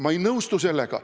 Ma ei nõustu sellega.